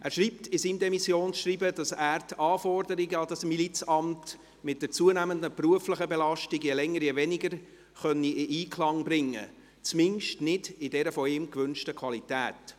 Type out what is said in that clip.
Er schreibt in seinem Demissionsschreiben, dass er die Anforderungen an dieses Milizamt mit der zunehmenden beruflichen Belastung je länger je weniger in Einklang bringen könne, zumindest nicht in der von ihm gewünschten Qualität.